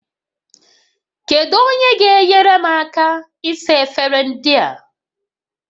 Kedu onye ga-enyere m aka ịsa efere ndị a?